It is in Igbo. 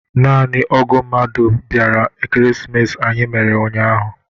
Naanị ógụ̀ mmadụ bịara Ekeresimesi anyị mere ụnyahụ.